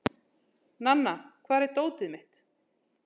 Nanna, hvar er dótið mitt?